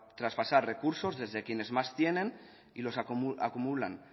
transportar recursos desde quienes más tienen y los acumulan